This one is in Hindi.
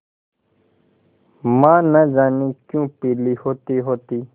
माँ न जाने क्यों पीली होतीहोती